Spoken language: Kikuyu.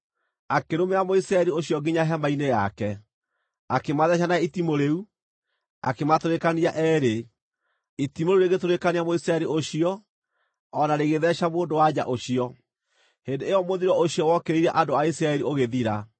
akĩrũmĩrĩra Mũisiraeli ũcio nginya hema-inĩ yake. Akĩmatheeca na itimũ rĩu, akĩmatũrĩkania eerĩ, itimũ rĩu rĩgĩtũrĩkania Mũisiraeli ũcio o na rĩgĩtheeca mũndũ-wa-nja ũcio. Hĩndĩ ĩyo mũthiro ũcio wokĩrĩire andũ a Isiraeli ũgĩthira;